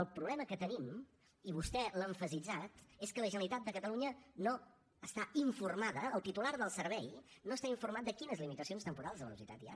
el problema que tenim i vostè l’ha emfasitzat és que la generalitat de catalunya no n’està informada el titular del servei no està informat de quines limitacions temporals de velocitat hi ha